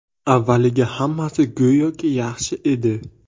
Avvaliga hammasi go‘yoki yaxshi edi.